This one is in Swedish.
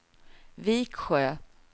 Viksjö